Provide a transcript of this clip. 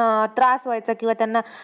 अं त्रास व्हायचा. किंवा त्यांना,